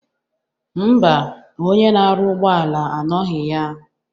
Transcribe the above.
Ḿbà, onye na-arụ ụgbọala anọghị ya.